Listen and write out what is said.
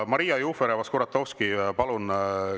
Maria Jufereva-Skuratovski, palun!